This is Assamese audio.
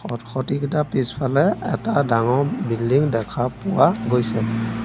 খটখটি কেইটাৰ পিছফালে এটা ডাঙৰ বিল্ডিং দেখা পোৱা গৈছে।